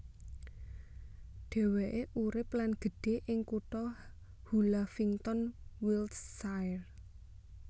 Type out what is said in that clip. Dhéwéké urip lan gedhe ing kutha Hullavington Wiltshire